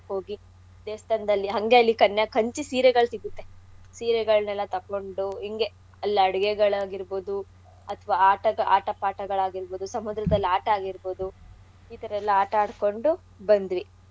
ದೇವ್ಸ್ಥಾನ್ದಲ್ಲಿ ಹಂಗೇ ಅಲ್ಲಿ ಕನ್ಯಾ~ ಕಂಚಿ ಸೀರೆಗಳ್ ಸಿಗುತ್ತೆ. ಸೀರೆಗಳ್ನೆಲ್ಲಾ ತೊಗೊಂಡು ಇಂಗೆ ಅಲ್ ಅಡ್ಗೆಗಳ್ ಆಗಿರ್ಬೌದು ಅಥವಾ ಆಟಗಳ್~ ಆಟ ಪಾಠಗಳ್ ಆಗಿರ್ಬೌದು ಸಮುದ್ರದಲ್ ಆಟ ಆಗಿರ್ಬೋದು ಈ ಥರಾ ಎಲ್ಲಾ ಆಟ ಆಡ್ಕೊಂಡು ಬಂದ್ವಿ.